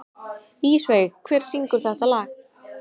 Ísveig, hver syngur þetta lag?